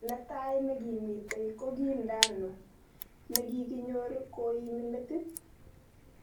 Netai nekimitei kokii Ndanu, nekikinyor koimi metit